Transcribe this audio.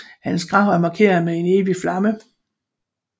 Hans grav er markeret med en evig flamme